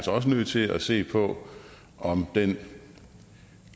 nødt til at se på om den